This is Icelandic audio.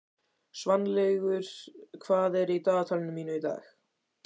Svanlaugur, hvað er í dagatalinu mínu í dag?